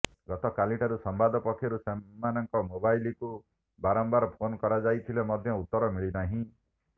ଗତକାଲିଠାରୁ ସମ୍ବାଦ ପକ୍ଷରୁ ସେମାନଙ୍କ ମୋବାଇଲକୁ ବାରମ୍ବାର ଫୋନ୍ କରାଯାଇଥିଲେ ମଧ୍ୟ ଉତ୍ତର ମିଳିନାହିଁ